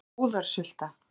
Þetta var búðarsulta.